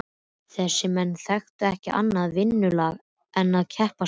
Þessir menn þekktu ekki annað vinnulag en að keppast við.